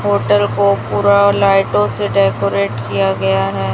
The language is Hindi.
होटल को पूरा लाइटों से डेकोरेट किया गया है।